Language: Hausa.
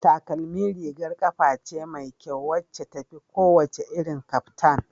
Takalmi rigar kafa ce mai kyau wacce tafi kowane irin kaftan